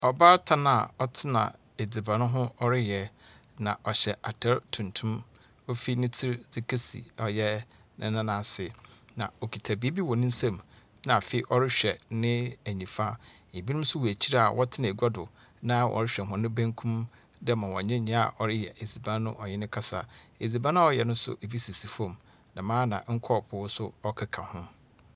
Ɔbbatan a ɔtena adziban ho a ɔreyɛ. Ɔhyɛ atar tuntum dzi fi ne tsir ho dze kesi ne n'an ase. Na okita biribi wɔ ne nsam. Na afee ɔrehwɛ ne nyifa. Ebinom nso wɔ akyir a wɔtena agua do na ɔrehwɛ hɔn benkum dɛ ma nea ɔreyɛ adziban no ɔye no rekasa. Adziban a ɔreyɛ nso bi sisi fam. Dɛm ara nso na nkɔɔpoo nso ka ho.